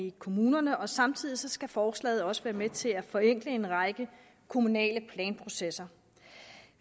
i kommunerne og samtidig skal forslaget også være med til at forenkle en række kommunale planprocesser